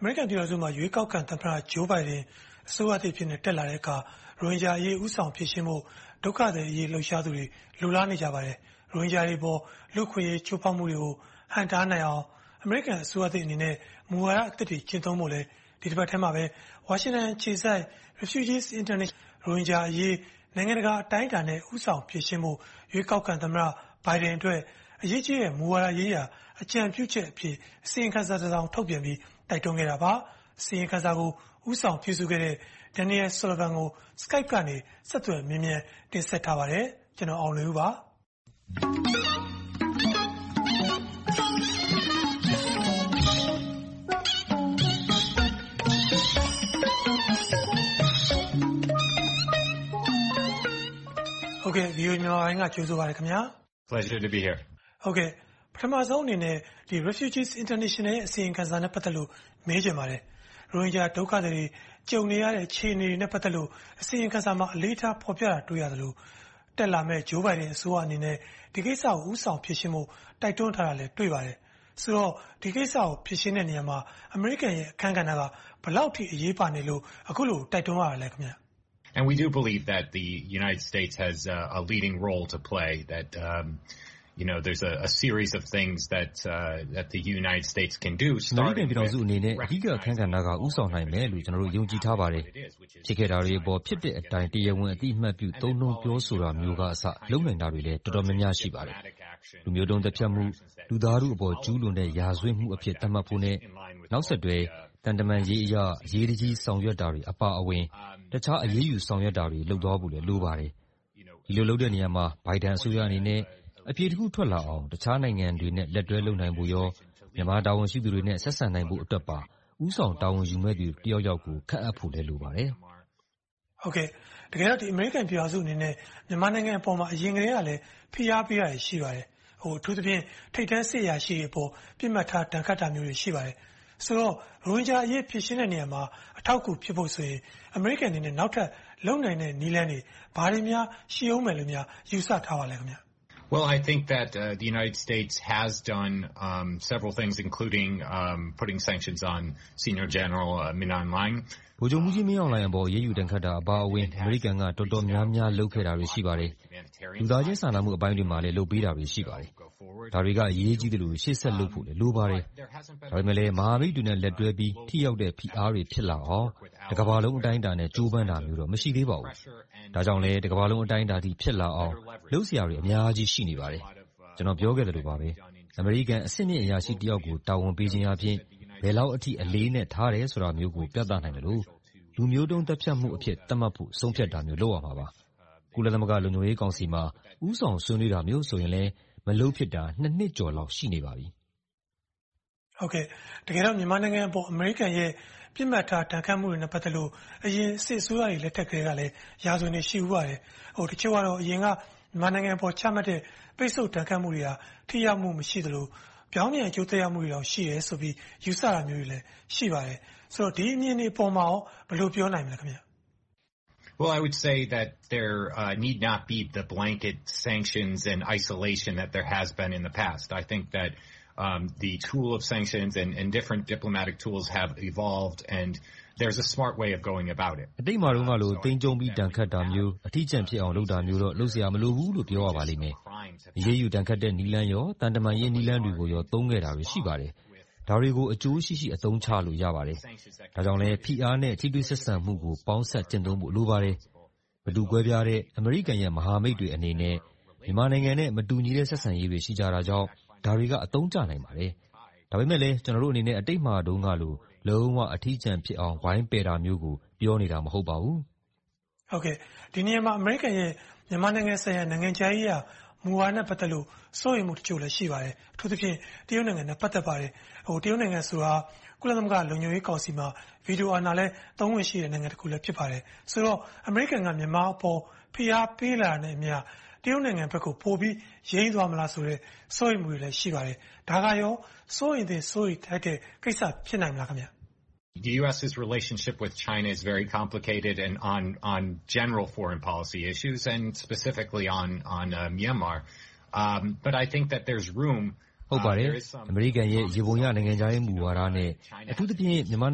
အမေရိကန်ပြည်ထောင်စုမှာ ရွေးကောက်ခံသမ္မတ Joe Biden အစိုးရတက်လာတဲ့အခါ ရိုဟင်ဂျာအရေး ဦးဆောင်ဖြေရှင်းဖို့ ဒုက္ခသည်အရေး လှုပ်ရှားသူတွေ လိုလားနေပါတယ်။ ရိုဟင်ဂျာတွေအပေါ် လူ့အခွင့်အရေး ချိုးဖောက်မှုတွေကို ဟန့်တားနိုင်အောင် အမေရိကန် အစိုးရသစ်နဲ့ မူဝါဒသစ်တွေ ကျင့်သုံးဖို့လည်း ဒီတပတ်ထဲမှာပဲ ဝါရှင်တန်အခြေစိုက် Refugees International အဖွဲ့ကလည်း “ရိုဟင်ဂျာအရေး နိုင်ငံတကာအတိုင်းအတာနဲ့ ဦးဆောင်ဖြေရှင်းဖို့ ရွေးကောက်ခံသမ္မတ Biden အတွက် အရေးကြီးတဲ့ မူဝါဒရေးရာ အကြံပြုချက်အဖြစ်” အစီရင်ခံစာတစောင် ထုတ်ပြန်ပြီး တိုက်တွန်းခဲ့တာပါ။ အစီရင်ခံစာကို ဦးဆောင်ပြုစုခဲ့တဲ့ Daniel Sullivan ကို Skype ကနေ ဆက်သွယ်မေးမြန်း တင်ဆက်ထားပါတယ်။ VOA မြန်မာပိုင်းက ကြိုဆိုပါတယ်။ ပထမဦးဆုံးအနေနဲ့ Refugees International ရဲ့ အစီရင်ခံစာနဲ့ ပတ်သက်လို့ မေးချင်ပါတယ်။ ရိုဟင်ဂျာဒုက္ခသည်တွေ ကြုံနေရတဲ့ အခြေအနေနဲ့ ပတ်သက်လို့ အစီရင်ခံစာမှာ အလေးထားဖော်ပြထားတာကို တွေ့ရသလို၊ တက်လာမယ့် Joe Biden အစိုးရအနေနဲ့ ဒီကိစ္စကို ဦးဆောင်ဖြေရှင်းဖို့ တိုက်တွန်းထားတာကိုလည်း တွေ့ပါတယ်။ ဆိုတော့ ဒီကိစ္စကို ဖြေရှင်းတဲ့နေရာမှာ အမေရိကန်ရဲ့ အခန်းကဏ္ဍက ဘယ်လောက်အထိ အရေးပါနေလို့ အခုလို တိုက်တွန်းရတာလဲ။ အမေရိကန်ပြည်ထောင်စုအနေနဲ့ အဓိကအခန်းကဏ္ဍကနေ ဦးဆောင်နိုင်မယ်လို့ ကျနော်တို့ ယုံကြည်ထားပါတယ်။ ဖြစ်ခဲ့တာတွေအပေါ် ဖြစ်တဲ့အတိုင်း တရားဝင်အသိအမှတ်ပြု သုံးနှုန်းပြောဆိုတာမျိုးကအစ လုပ်နိုင်တာတွေလည်း အတော်များများ ရှိပါတယ်။ လူမျိုးတုန်းသတ်ဖြတ်မှု၊ လူသားတို့အပေါ် ကျူးလွန်တဲ့ ရာဇဝတ်မှုအဖြစ် သတ်မှတ်ဖို့နဲ့ နောက်ဆက်တွဲ သံတမန်အရေးအရ အရေးတကြီးဆောင်ရွက်တာတွေ အပါအဝင် တခြားအရေးယူဆောင်ရွက်တာတွေ လုပ်သွားဖို့လည်း လိုပါတယ်။ ဒီလိုလုပ်တဲ့နေရာမှာ Biden အစိုးရအနေနဲ့ အဖြေတစ်ခုထွက်လာအောင် အခြားနိုင်ငံတွေနဲ့ လက်တွဲလုပ်နိုင်ဖို့နဲ့ မြန်မာနိုင်ငံတာဝန်ရှိသူတွေ ဆက်ဆံနိုင်ဖို့အတွက်ပါ ဦးဆောင်ဆောင်ရွက်မယ့်သူ တစ်ယောက်ယောက်ကို ခန့်အပ်ဖို့လည်း လိုပါတယ်။ တကယ်တော့ အမေရိကန်ပြည်ထောင်စုအနေနဲ့ မြန်မာနိုင်ငံအပေါ်မှာ အရင်ကတည်းကလဲ ဖိအားပေးတာတွေ ရှိပါတယ်။ အထူးသဖြင့် ထိပ်တန်းစစ်အရာရှိတွေအပေါ် ပစ်မှတ်ထား ဒဏ်ခတ်တာတွေ ရှိပါတယ်။ ဆိုတော့ ရိုဟင်ဂျာအရေး ဖြေရှင်းတဲ့နေရာမှာ အထောက်အကူ ဖြစ်ဖို့ဆိုရင် အမေရိကန်အနေနဲ့ နောက်ထပ်လုပ်နိုင်တဲ့ နည်းလမ်းတွေ ဘာတွေများ ရှိအုံးမယ်လို့ ယူဆထားပါလဲ။ ဗိုလ်ချုပ်မှူးကြီးမင်းအောင်လှိုင်အပေါ် အရေးယူဒဏ်ခတ်တာအပါအဝင် အမေရိကန်က တော်တော်များများ လုပ်ခဲ့တာတွေ ရှိပါတယ်။ လူသားချင်း စာနာမှုအပိုင်းတွေမှာလည်း လုပ်ပေးတာတွေ ရှိပါတယ်။ ဒါတွေက အရေးကြီးသလို ရှေ့ဆက်လုပ်ဖို့လည်း လိုပါတယ်။ ဒါပေမဲ့လဲ မဟာမိတ်တွေနဲ့ လက်တွဲပြီး ထိရောက်တဲ့ ဖိအားတွေ ဖြစ်လာအောင် တကမ္ဘာလုံး အတိုင်းအတာနဲ့ ကြိုးပမ်းတာမျိုးတော့ မရှိသေးပါဘူး။ ဒါကြောင့်လဲ တကမ္ဘာလုံး အတိုင်းအတာအထိ ဖြစ်သွားအောင် လုပ်စရာတွေ အများကြီးရှိပါတယ်။ ကျနော် ပြောခဲ့သလိုပဲ အမေရိကန်အဆင့်မြင့်အရာရှိတစ်ယောက်ကို တာဝန်ပေးခြင်းအားဖြင့် ဘယ်လောက်အထိ အလေးအနက်ထားတာမျိုးကို ပြသနိုင်သလို၊ လူမျိုးတုန်းသတ်ဖြတ်မှုအဖြစ် သတ်မှတ်တာမျိုး ဆုံးဖြတ်ဖို့ လုပ်ရမှာပါ။ ကုလသမဂ္ဂလုံခြုံရေးကောင်စီမှာ ဦးဆောင်ဆွေးနွေးပေးတာမျိုးလည်း မလုပ်ဖြစ်တာ နှစ်ကျော်လောက် ရှိနေပါပြီ။ တကယ်တော့ မြန်မာနိုင်ငံအပေါ် အမေရိကန်ရဲ့ ပစ်မှတ်ထား ဒဏ်ခတ်မှုတွေနဲ့ ပတ်သက်လို့ အရင် စစ်အစိုးရတွေ လက်ထက်ကတည်းကလည်း ရာဇဝင်တွေ ရှိဖူးပါတယ်။ တချို့ကလဲ အရင်က မြန်မာနိုင်ငံပေါ် ချမှတ်တဲ့ ပိတ်စို့ဒဏ်ခတ်မှုတွေက ထိရောက်မှုမရှိသလို၊ ပြောင်းပြန်အကျိုးသက်ရောက်မှုတွေတောင် ရှိတယ်လို့ ယူဆတာမျိုးတွေလည်း ရှိပါတယ်။ ဆိုတော့ ဒီအမြင်တွေပေါ်ကို ဘယ်လိုပြောနိုင်မလဲ။ အတိတ်မှာတုန်းကလို သိမ်းကျုံးပြီးတော့ ပြစ်ဒဏ်ခတ်တာမျိုး၊ အထီးကျန်ဖြစ်တာမျိုးတွေတော့ လုပ်စရာမလိုဘူးလို့ ပြောရပါလိမ့်မယ်။ အရေးယူဒဏ်ခတ်တဲ့ နည်းလမ်းနဲ့ သံတမန်ရေး နည်းလမ်းတွေကိုပါ သုံးခဲ့တာတွေ ရှိပါတယ်။ ဒါတွေကို အကျိုးရှိရှိ အသုံးချလို့ ရပါတယ်။ ဒါကြောင့်လဲ ဖိအားနဲ့ ထိတွေ့ဆက်ဆံမှုကို ပေါင်းစပ်ကျင့်သုံးဖို့ လိုပါတယ်။ မတူကွဲပြားတဲ့ အမေရိကန်ရဲ့ မဟာမိတ်တွေအနေနဲ့ မြန်မာနိုင်ငံနဲ့ မတူညီတဲ့ ဆက်ဆံရေးတွေ ရှိတာကြောင့် ဒါတွေက အသုံးကျနိုင်ပါတယ်။ ဒါပေမဲ့လဲ ကျနော်တို့အနေနဲ့ အတိတ်မှာတုန်းကလို လုံးဝအထီးကျန်ဖြစ်အောင် ဝိုင်းပယ်တာမျိုးကို ပြောနေတာ မဟုတ်ပါဘူး။ ဒီနေရာမှာ အမေရိကန်ရဲ့ မြန်မာနိုင်ငံဆိုင်ရာ နိုင်ငံခြားရေးရာမူဝါဒနဲ့ ပတ်သက်လို့ စိုးရိမ်မှုတချို့လည်း ရှိပါတယ်။ အထူးသဖြင့် တရုတ်နိုင်ငံနဲ့ ပတ်သက်ပါတယ်။ တရုတ်နိုင်ငံဆိုတာ ကုလသမဂ္ဂလုံခြုံရေးကောင်စီမှာ ဗီတိုအာဏာလည်း သုံးခွင့်ရှိတဲ့ နိုင်ငံတစ်ခုလည်း ဖြစ်ပါတယ်။ ဆိုတော့ အမေရိကန်က မြန်မာအပေါ် ဖိအားပေးလာတာနဲ့အမျှ တရုတ်နိုင်ငံဘက်ကို ယိမ်းသွားမလားဆိုတဲ့ စိုးရိမ်မှုတွေလည်း ရှိပါတယ်။ ဒါကရော စိုးရိမ်သင့်၊ စိုးရိမ်ထိုက်တဲ့ ကိစ္စ ဖြစ်နိုင်မလား။ ဟုတ်ပါတယ်။ အမေရိကန်ရဲ့ ယေဘုယျ နိုင်ငံခြားရေး မူဝါဒနဲ့ အထူးသဖြင့် မြန်မာ့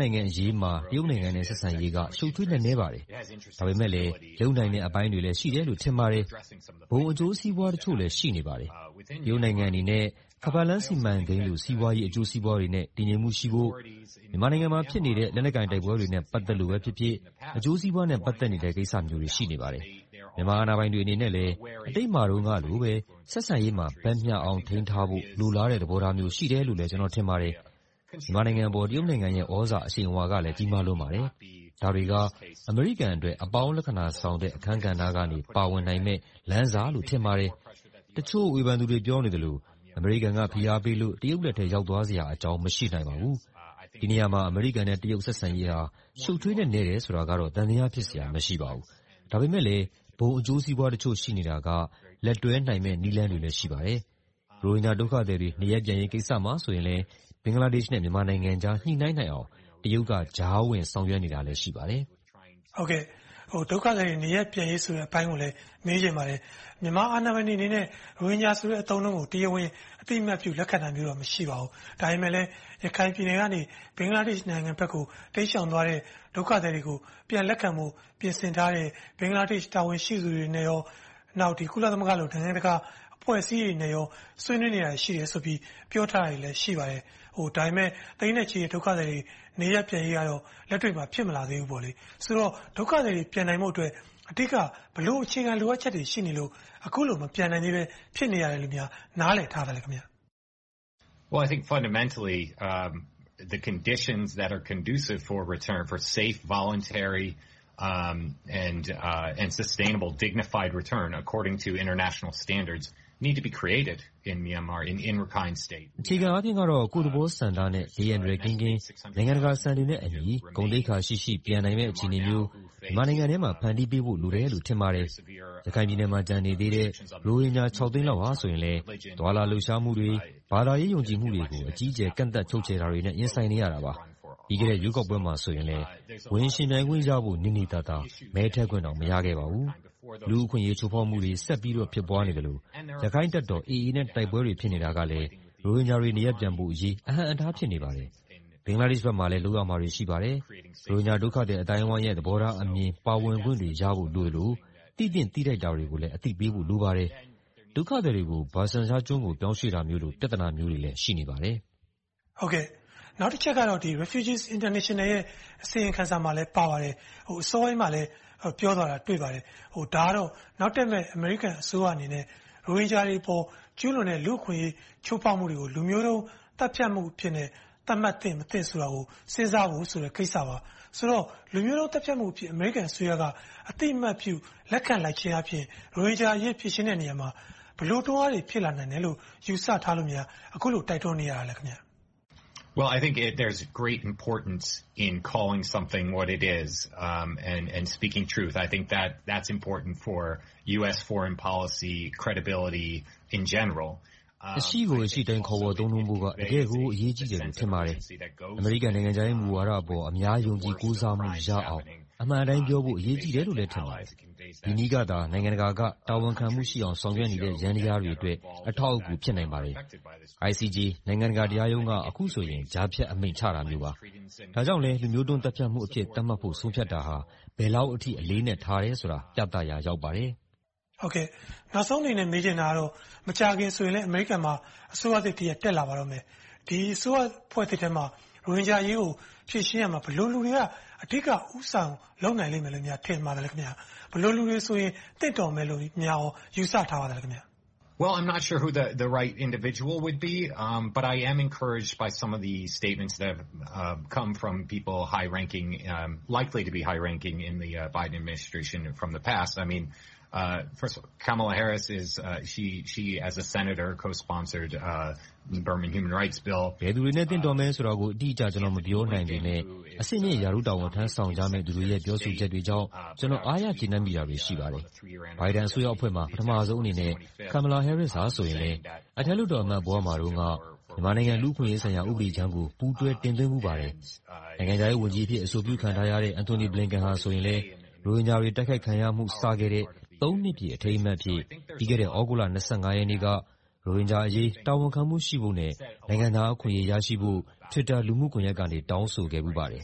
နိုင်ငံရေးမှာ တရုတ်နိုင်ငံနဲ့ ဆက်ဆံရေးက ရှုပ်ထွေးနက်နဲပါတယ်။ ဒါပေမဲ့လဲ လုပ်နိုင်တဲ့အပိုင်းတွေလည်း ရှိတယ်လို့ ထင်ပါတယ်။ ဘုံအကျိုးစီးပွားတချို့လည်း ရှိနေပါတယ်။ တရုတ်နိုင်ငံအနေနဲ့ ခါးပတ်လမ်း စီမံကိန်းလို စီးပွားရေးအကျိုးစီးပွားတွေနဲ့ တည်ငြိမ်မှုရှိဖို့ မြန်မာနိုင်ငံမှာ ဖြစ်နေတဲ့ လက်နက်ကိုင်တိုက်ပွဲတွေနဲ့ ပတ်သက်လို့ပဲဖြစ်ဖြစ်၊ အကျိုးစီးပွားနဲ့ ပတ်သက်နေတဲ့ ကိစ္စမျိုးတွေ ရှိနေပါတယ်။ မြန်မာအာဏာပိုင်တွေအနေနဲ့လဲ အတိတ်ကာလမှာတုန်းကလိုပဲ ဆက်ဆံရေးမှာ ဘက်မျှအောင် ထိန်းထားဖို့ လိုလားတဲ့သဘောမျိုး ရှိတယ်လို့ ကျနော် ထင်ပါတယ်။ မြန်မာနိုင်ငံအပေါ် တရုတ်နိုင်ငံရဲ့ သြဇာအရှိန်အဝါကလည်း ကြီးမားလွန်ပါတယ်။ ဒါတွေက အမေရိကန်အတွက် အပေါင်းလက္ခဏာဆောင်တဲ့ အခန်းကဏ္ဍကနေ ပါဝင်နိုင်မယ့် လမ်းစလို့ ထင်ပါတယ်။ တချို့ဝေဖန်နေသူတွေ ပြောနေသလို အမေရိကန်က ဖိအားပေးလို့ တရုတ်လက်ထဲ ရောက်သွားစရာအကြောင်း မရှိနိုင်ပါဘူး။ ဒီနေရာမှာ အမေရိကန်နဲ့ တရုတ်ဆက်ဆံရေးက ရှုပ်ထွေးနက်နဲတယ်ဆိုတာကတော့ သံသယဖြစ်စရာ မရှိပါဘူး။ ဒါပေမဲ့ ဘုံအကျိုးစီးပွားတချို့ ရှိနေတာက လက်တွဲနိုင်မယ့် နည်းလမ်းတွေလည်း ရှိနေပါတယ်။ ရိုဟင်ဂျာဒုက္ခသည်တွေ နေရပ်ပြန်ရေးကိစ္စမှာလည်း ဘင်္ဂလားဒေ့ရှ်နဲ့ မြန်မာနိုင်ငံကြား ညှိနှိုင်းနိုင်အောင် တရုတ်က ကြားဝင်ဆောင်ရွက်နေတာလည်း ရှိပါတယ်။ ဒုက္ခသည်တွေ နေရပ်ပြန်ရေးဆိုတဲ့ အပိုင်းကိုလည်း မေးချင်ပါတယ်။ မြန်မာအာဏာပိုင်တွေအနေနဲ့ ရိုဟင်ဂျာဆိုတဲ့ အသုံးအနှုန်းကို တရားဝင်အသိအမှတ်ပြု လက်ခံနိုင်တာမျိုးတော့ မရှိပါဘူး။ ဒါပေမဲ့လဲ ရခိုင်ပြည်နယ်ကနေ ဘင်္ဂလားဒေ့ရှ် နိုင်ငံဘက်ကို တိမ်းရှောင်သွားတဲ့ ဒုက္ခသည်တွေကို ပြန်လက်ခံထားဖို့ ပြင်ဆင်ထားတဲ့ ဘင်္ဂလားဒေ့ရှ် တာဝန်ရှိသူတွေနဲ့ကော နောက် ကုလသမဂ္ဂလို နိုင်ငံတကာအဖွဲ့အစည်းတွေနဲ့ ဆွေးနွေးနေတာတွေ ရှိတယ်လို့ ပြောထားတာတွေ ရှိပါတယ်။ ဒါပေမဲ့ သိန်းနဲ့ချီတဲ့ ဒုက္ခသည်တွေ နေရပ်ပြန်ရေးကတော့ လက်တွေ့မှာ ဖြစ်မလာသေးဘူးပေါ့။ ဆိုတော့ ဒုက္ခသည်တွေ ပြန်နိုင်ဖို့အတွက် အဓိက ဘယ်လိုအခြေခံအချက်တွေ ရှိနေလို့ အခုလို မပြန်နိုင်သေးဘဲ၊ ဖြစ်နေရတယ်လို့ နားလည်ထားသလဲ။ အခြေခံအားဖြင့်တော့ ကိုယ့်သဘောဆန္ဒနဲ့ ဘေးအန္တရာယ်ကင်းကင်း၊ နိုင်ငံတကာစံတွေနဲ့အညီ ဂုဏ်သိက္ခာရှိရှိ ပြန်နိုင်တဲ့ အခြေအနေမျိုး မြန်မာနိုင်ငံထဲမှာ ဖန်တီးပေးဖို့လိုတယ်လို့ ထင်ပါတယ်။ ရခိုင်ပြည်နယ်မှာ ကျန်နေသေးတဲ့ ရိုဟင်ဂျာ ခြောက်သိန်းလောက်ကလည်း သွားလာလှုပ်ရှားမှုတွေ၊ ဘာသာရေးယုံကြည်မှုတွေကို အကြီးအကျယ် ကန့်သတ်ချုပ်ချယ်တာတွေနဲ့ ရင်ဆိုင်နေရတာပါ။ ပြီးခဲ့တဲ့ ရွေးကောက်ပွဲမှာဆိုရင်လဲ ဝင်ယှဉ်ပြိုင်နိုင်ဖို့နေနေသာ မဲထည့်ခွင့်တောင် မရခဲ့ပါဘူး။ လူ့အခွင့်အရေး ချိုးဖောက်မှုတွေ ဆက်ဖြစ်နေသလို၊ ရခိုင်တပ်တော် AA နဲ့လည်း တိုက်ပွဲတွေ ဖြစ်နေတာကလဲ ရိုဟင်ဂျာတွေ နေရပ်ပြန်ဖို့အရေး အဟန့်အတား ဖြစ်နေပါတယ်။ ဘင်္ဂလားဒေရှ်ဘက်မှာလည်း လုပ်ရမယ့်ကိစ္စတွေ ရှိပါတယ်။ ရိုဟင်ဂျာဒုက္ခသည် အသိုင်းအဝိုင်းရဲ့ သဘောထားအမြင်၊ ပါဝင်ခွင့်တွေရဖို့ လိုသလို၊ သိသင့်သိထိုက်တာတွေကိုလည်း အသိပေးဖို့ လိုပါတယ်။ ဒုက္ခသည်တွေကို Bhashan Char ကျွန်းကို ပြောင်းရွှေ့တာမျိုးလို ပြဿနာမျိုးတွေ ရှိနေပါတယ်။ နောက်တစ်ချက်ကတော့ Refugees International အစီရင်ခံစာမှာလည်း ပါပါတယ်။ အစောပိုင်းမှာလည်း ပြောသွားတာ တွေ့ပါတယ်။ ဒါကတော့ နောက်တက်မယ့် အမေရိကန်အစိုးရအနေနဲ့ ရိုဟင်ဂျာတွေအပေါ် ကျူးလွန်တဲ့ လူ့အခွင့်အရေး ချိုးဖောက်မှုတွေကို လူမျိုးတုန်းသတ်ဖြတ်မှုအဖြစ် သတ်မှတ်သင့်မသင့်ဆိုတာကို စဉ်းစားဖို့ဆိုတဲ့ ကိစ္စပါ။ ဆိုတော့ လူမျိုးတုန်းသတ်ဖြတ်မှုအဖြစ် အမေရိကန်အစိုးရက အသိအမှတ်ပြု လက်ခံလိုက်ခြင်းအားဖြင့် ရိုဟင်ဂျာအရေး ဖြေရှင်းတဲ့နေရာမှာ ဘယ်လိုတွန်းအားတွေ ဖြစ်လာနိုင်မယ်လို့ ယူဆထားလို့များ အခုလို တိုက်တွန်းနေရတာလဲ။ အရှိကိုအရှိအတိုင်း ခေါ်ဝေါ်သုံးနှုန်းဖို့က တကယ့်ကို အရေးကြီးတယ်လို့ ထင်ပါတယ်။ အမေရိကန်နိုင်ငံခြားရေး မူဝါဒအပေါ် အများယုံကြည်ကိုးစားမှုရအောင် အမှန်အတိုင်းပြောဖို့က အရေးကြီးတယ်လို့ ထင်ပါတယ်။ ဒီနည်းက နိုင်ငံတကာက တာဝန်ခံမှုရှိအောင် ဆောင်ရွက်နေတဲ့ ယန္တရားတွေအတွက် အထောက်အကူ ဖြစ်နိုင်ပါတယ်။ ICJ နိုင်ငံတကာတရားရုံးက အခုဆိုရင် ကြားဖြတ်အမိန့် ချတာမျိုးပါ။ ဒါကြောင့်လဲ လူမျိုးတုန်းသတ်ဖြတ်မှုအဖြစ် သတ်မှတ်ဖို့ ဆုံးဖြတ်တာဟာ ဘယ်လောက်အထိ အလေးအနက် ထားတယ်ဆိုတာကို ပြသရာ ရောက်ပါတယ်။ နောက်ဆုံးအနေနဲ့ မေးချင်တာကတော့ မကြာခင်မှာဆိုရင်လဲ အမေရိကန်မှာ အစိုးရသစ်တစ်ရပ် တက်လာပါတော့မယ်။ ဒီအစိုးရဖွဲ့သစ်ထဲမှာ ရိုဟင်ဂျာအရေးကို ဖြေရှင်းရာမှာ ဘယ်လိုလူတွေက အဓိက ဦးဆောင်လုပ်နိုင်လိမ့်မယ်လို့ ထင်ပါသလဲ။ ဘယ်လိုလူတွေဆိုရင် သင့်တော်မယ်လို့များ ယူဆထားပါသလဲ။ ဘယ်သူတွေနဲ့ သင့်တော်မယ်ဆိုတာကို အတိအကျ ကျနော် မပြောနိုင်ပေမယ့် အဆင့်မြင့်ရာထူးတာဝန် ထမ်းဆောင်ကြမယ့်လူတွေရဲ့ ပြောဆိုချက်တွေကြောင့် ကျနော် အားရကျေနပ်မိတာတွေ ရှိပါတယ်။ Biden အစိုးရအဖွဲ့မှာ ပထမဦးဆုံးအနေနဲ့ ဒုသမ္မတ Kamala Harris က အထက်လွှတ်တော်ဘဝမှာတုန်းက မြန်မာနိုင်ငံ လူ့အခွင့်အရေးဆိုင်ရာ ဥပဒေကြမ်းကို ပူးတွဲတင်သွင်းဖူးပါတယ်။ နိုင်ငံခြားရေးဝန်ကြီးအဖြစ် အဆိုပြုခံထားရတဲ့ Antony Blinken ဆိုရင်လဲ ရိုဟင်ဂျာတွေ တိုက်ခိုက်ခံရမှု စဖြစ်ခဲ့တဲ့ နှစ်ပြည့် အခမ်းအနားအဖြစ် ပြီးခဲ့တဲ့ သြဂုတ်လ ရက်နေ့က ရိုဟင်ဂျာအရေး တာဝန်ခံမှု ရှိဖို့နဲ့ နိုင်ငံသားအခွင့်အရေး ရရှိဖို့ Twitter လူ့မှုကွန်ရက်ကနေ တောင်းဆိုခဲ့ဖူးပါတယ်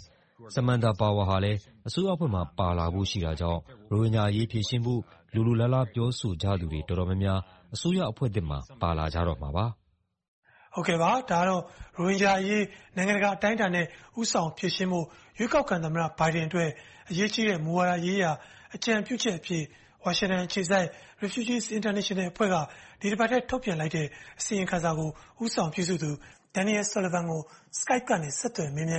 ။ Samantha Power ကလည်း အစိုးရအဖွဲ့မှာ ပါလာဖို့ ရှိတာကြောင့် ရိုဟင်ဂျာအရေး ဖြေရှင်းဖို့ လိုလိုလားလား ပြောဆိုကြသူတွေ တော်တော်များများ အစိုးရအဖွဲ့သစ်မှာ ပါလာကြတော့မှာပါ။ ကိုအောင်လွင်ဦး ။ ။ ရိုဟင်ဂျာအရေး နိုင်ငံတကာအတိုင်းအတာနဲ့ ဦးဆောင်ဖြေရှင်းဖို့ ရွေးကောက်ခံ သမ္မတ Joe Biden အတွက် အရေးကြီးတဲ့ မူဝါဒရေးရာ အကြံပြုချက်အဖြစ် ဝါရှင်တန်အခြေစိုက် Refugees International အဖွဲ့က ဒီတပတ်ထဲ ထုတ်ပြန်လိုက်တဲ့ အစီရင်ခံစာကို ဦးဆောင်ရေးခဲ့သူ Daniel Sullivan Skype ကနေ ဆက်သွယ်မေးမြန်း